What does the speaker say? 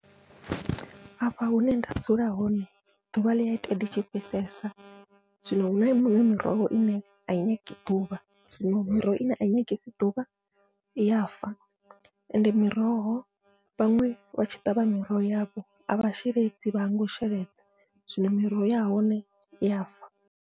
Afha hune nda dzula hone ḓuvha ḽia ita ḽitshi fhisesa, zwino huna miṅwe miroho ine ai nyagi ḓuvha zwino miroho ine ai nyangi ḓuvha iya fa, ende miroho vhaṅwe vha tshi ṱavha miroho yavho avha sheledzi vha hangwa u sheledza zwino miroho ya hone iya fa.